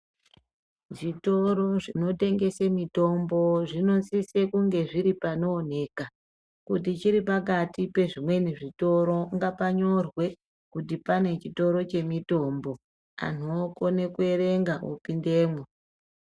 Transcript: Zvitoro zvino tengese mitombo zvino sise kunge zviri pano oneka kuti chiri pakati pe zvimweni zvitoro ngapa nyorwe kuti pane chitoro che mitombo anhu okone ku erenga opindemwo.